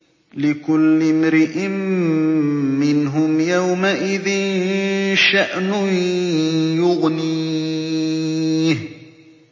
لِكُلِّ امْرِئٍ مِّنْهُمْ يَوْمَئِذٍ شَأْنٌ يُغْنِيهِ